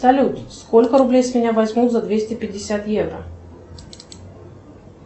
салют сколько рублей с меня возьмут за двести пятьдесят евро